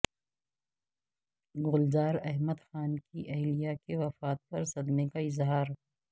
گلزار احمد خان کی اہلیہ کی وفات پر صدمے کا اظہار